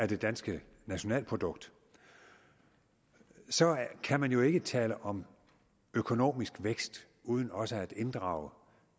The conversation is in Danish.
det danske nationalprodukt så kan man jo ikke tale om økonomisk vækst uden også at inddrage